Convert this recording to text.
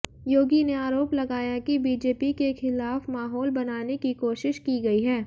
योगी ने आरोप लगाया कि बीजेपी के खिलाफ माहौल बनाने की कोशिश की गई है